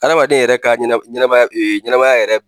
Adamaden yɛrɛ ka ɲɛnɛma ɲɛnɛmaya ɲɛnɛmaya yɛrɛ